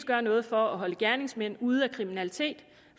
gør noget for at holde gerningsmændene ude af kriminalitet